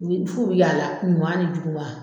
U bɛ f'u bɛ y'a la ɲuman ni juguma.